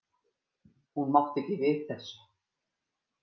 Hún mátti ekki við þessu.